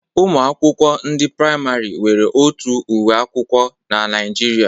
Ụmụ akwụkwọ ndị praịmarị nwere otu uwe ụlọ akwụkwọ n'Naijiria